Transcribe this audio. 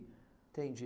Entendi.